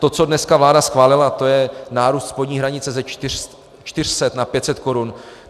To, co dneska vláda schválila, to je nárůst spodní hranice ze 400 na 500 korun.